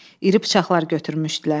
İri bıçaqlar götürmüşdülər.